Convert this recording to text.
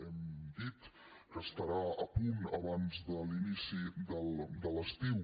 hem dit que estarà a punt abans de l’inici de l’estiu